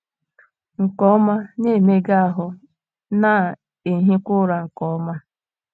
nke ọma, na - emega ahụ́, na - ehikwa ụra nke ọma